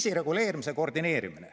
Kriisireguleerimise koordineerimine.